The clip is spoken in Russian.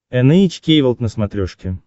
эн эйч кей волд на смотрешке